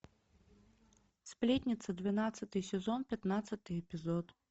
сплетница двенадцатый сезон пятнадцатый эпизод